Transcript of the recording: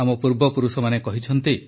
ଆମ ପୂର୍ବପୁରୁଷମାନେ କହିଛନ୍ତି